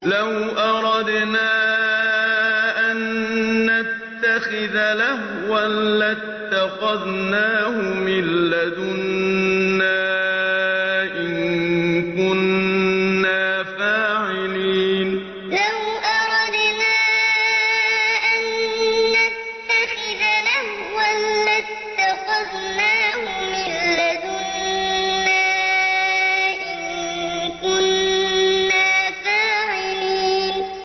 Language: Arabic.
لَوْ أَرَدْنَا أَن نَّتَّخِذَ لَهْوًا لَّاتَّخَذْنَاهُ مِن لَّدُنَّا إِن كُنَّا فَاعِلِينَ لَوْ أَرَدْنَا أَن نَّتَّخِذَ لَهْوًا لَّاتَّخَذْنَاهُ مِن لَّدُنَّا إِن كُنَّا فَاعِلِينَ